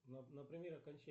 например